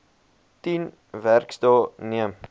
tien werksdae neem